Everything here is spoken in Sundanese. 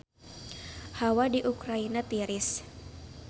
Hawa di Ukraina tiris